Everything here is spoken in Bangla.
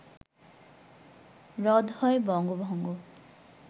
রদ হয় বঙ্গভঙ্গ